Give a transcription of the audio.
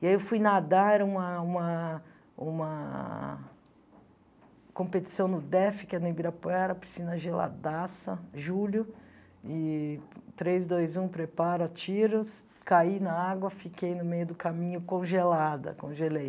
E aí eu fui nadar, era uma uma uma competição no DEF, que é no Ibirapuera, piscina geladaça, julho, e três, dois, um, prepara, atira, caí na água, fiquei no meio do caminho congelada, congelei.